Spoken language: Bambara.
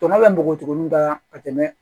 Tɔnɔ bɛ mɔgɔtugu min na ka tɛmɛ